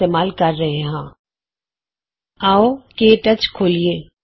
ਇਸਤੇਮਾਲ ਕਰ ਰਹੇ ਹਾਂ ਆਉ ਕੇ ਟੱਚ ਖੋਲੀਏ